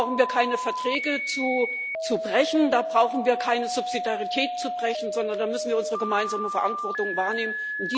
Da brauchen wir keine Verträge zu brechen, da brauchen wir keine Subsidiarität zu brechen, sondern da müssen wir unsere gemeinsame Verantwortung wahrnehmen.